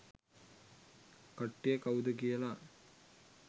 කට්ටිය කවුද කියලා.